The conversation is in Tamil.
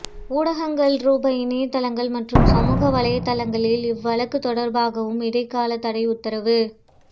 ஊடகங்கள்ரூபவ் இணையத்தளங்கள் மற்றும் சமூக வலைத்தளங்களில் இவ் வழக்குத் தொடர்பாகவும் இடைக்காலத்தடை உத்தரவு